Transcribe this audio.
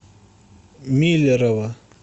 миллерово